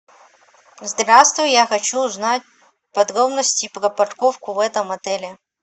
здравствуй я хочу узнать подробности про парковку в этом отеле